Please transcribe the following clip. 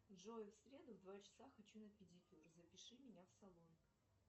джой в среду в два часа хочу на педикюр запиши меня в салон